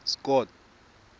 scott